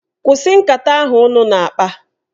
Kwụsị nkata ahụ ụnụ na-akpa!